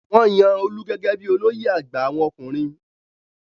Wọ́n yan Olú gẹ́gẹ́ bí i olóyè àgbà àwọn ọkùnrin.